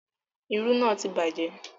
Irú náà ti bàjẹ́